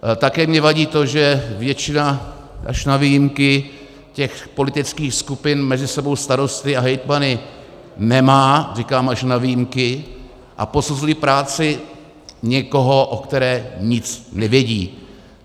Také mi vadí to, že většina, až na výjimky, těch politických skupin mezi sebou starosty a hejtmany nemá, říkám až na výjimky, a posuzují práci někoho, o které nic nevědí.